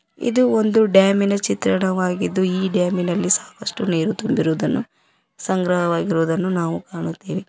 ಇದು ಒಂದು ಡ್ಯಾಮಿ ನ ಚಿತ್ರಣವಾಗಿದ್ದು ಈ ಡ್ಯಾಮಿ ನಲ್ಲಿ ಸಾಕಷ್ಟು ನೀರು ತುಂಬಿರುವುದನ್ನು ಸಂಗ್ರಹವಾಗಿರುವುದನ್ನು ನಾವು ಕಾಣುತ್ತೇವೆ.